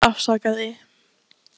Þú þarft ekkert að afsaka þig.